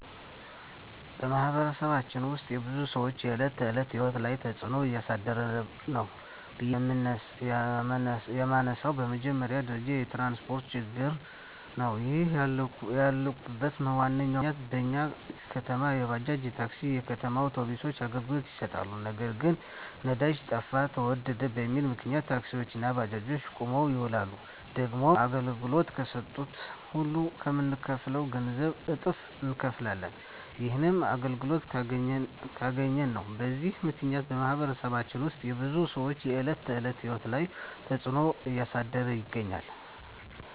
በማኅበረሰባችን ውስጥ የብዙ ሰዎች የዕለት ተዕለት ሕይወት ላይ ትጽእኖ እያሳደረ ነው ብዬ የመነሣው በመጀመሪያ ደረጃ የትራንስፓርት ችግር ነው። ይህንን ያልኩበት ዋናው ምክንያት በኛ ከተማ የባጃጅ፣ የታክሲ፣ የከተማ አውቶቢሶች አገልግሎት ይሠጣሉ። ነገር ግን ነዳጅ ጠፋ ተወደደ በሚል ምክንያት ታክሲዎች እና ባጃጆች ቁመው ይውላሉ። ደግሞም አገልግሎት ከሠጡም ሁሌ ከምንከፍለው ገንዘብ እጥፍ እነከፍላለን። ይህንንም አገልግሎቱን ካገኘን ነው። በዚህ ምክንያት በማኅበረሰባችን ውስጥ የብዙ ሰዎች የዕለት ተዕለት ሕይወት ላይ ትጽእኖ እያሳደረ ይገኛል።